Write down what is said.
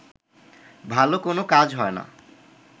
ভালো কোনো কাজ হয় না